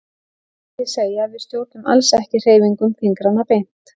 Það mætti því segja að við stjórnum alls ekki hreyfingum fingranna beint.